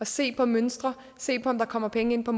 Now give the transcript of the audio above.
se på mønstre se på om der kommer penge ind på